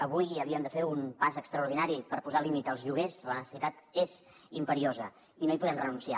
avui havíem de fer un pas extraordinari per posar límit als lloguers la necessitat és imperiosa i no hi podem renunciar